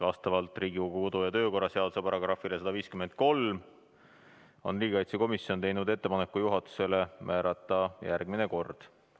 Vastavalt Riigikogu kodu- ja töökorra seaduse §-le 153 on riigikaitsekomisjon teinud juhatusele ettepaneku määrata järgmine kord.